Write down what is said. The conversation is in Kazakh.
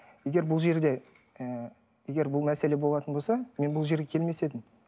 егер бұл жерде ы егер бұл мәселе болатын болса мен бұл жерге келмес едім